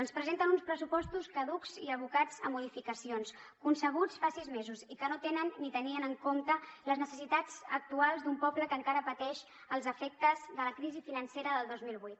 ens presenten uns pressupostos caducs i abocats a modificacions concebuts fa sis mesos i que no tenen ni tenien en compte les necessitats actuals d’un poble que encara pateix els efectes de la crisi financera del dos mil vuit